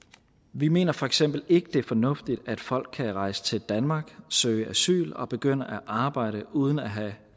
vi mener for eksempel ikke det er fornuftigt at folk kan rejse til danmark søge asyl og begynde at arbejde uden at have